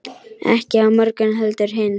Ekki á morgun heldur hinn.